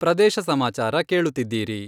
ಪ್ರದೇಶ ಸಮಾಚಾರ ಕೇಳುತ್ತಿದ್ದೀರಿ.....